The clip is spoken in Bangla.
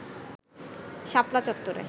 শাপলা চত্ত্বরে